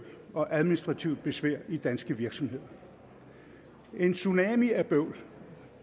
og administrativt besvær i danske virksomheder en tsunami af bøvl